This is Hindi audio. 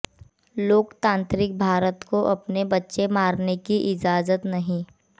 लोकतांत्रिक भारत को अपने बच्चे मारने की इजाजत नहीं